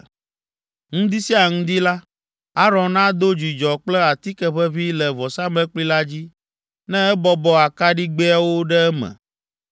“Ŋdi sia ŋdi la, Aron ado dzudzɔ kple atike ʋeʋĩ le vɔsamlekpui la dzi, ne ebɔbɔ akaɖigbɛawo ɖe eme.